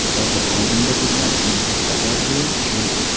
Hozir oldimda turgan eng katta orzuim shu.